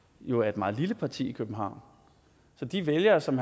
jo er et meget lille parti i københavn de vælgere som